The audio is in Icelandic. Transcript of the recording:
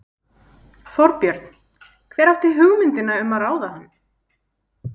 Þorbjörn: Hver átti hugmyndina um að ráða hann?